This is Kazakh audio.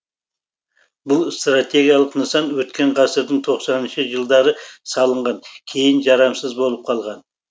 бұл стратегиялық нысан өткен ғасырдың тоқсаныншы жылдары салынған кейін жарамсыз болып қалған